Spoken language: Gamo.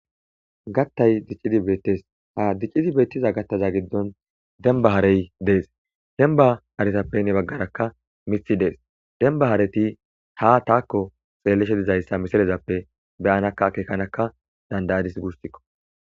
Gattay diccidi bettes ha diccida gattaza giddon demmaba haarey dees dembba haarezappe heni baggara miththay dess dembba haareti ha taako xellishe diizayssa missilezappe be'adakka akekadaka danda'adise guussako.